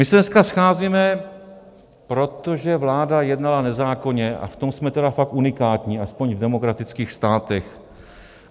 My se dneska scházíme, protože vláda jednala nezákonně, a v tom jsme tedy fakt unikátní, aspoň v demokratických státech.